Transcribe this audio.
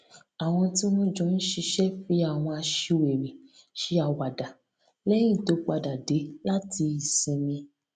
àwọn tí wọn jọ ń ṣiṣẹ fi àwọn aṣiwèrè ṣe àwàdà lẹyìn tó padà dé láti ìsinmi